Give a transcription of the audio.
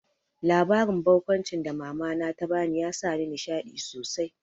Labarin barkwancin da mama na ta bani ya sa ni nishaɗi sosai